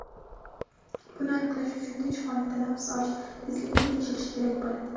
buni aniqlash uchun tinch holatda nafas olish tezligini tekshirish kerak bo‘ladi.